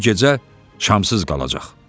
Bu gecə çamsız qalacaq.